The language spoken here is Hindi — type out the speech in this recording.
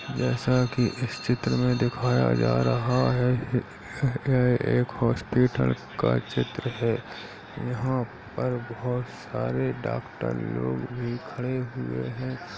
जैसा कि इस चित्र में दिखाया जा रहा है यह एक हॉस्पिटल का चित्र है यहाँ पर बहुत सारे डॉक्टर लोग भी खड़े हुए हैं।